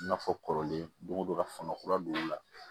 I n'a fɔ kɔrɔlen don o don ka fanga kura don o la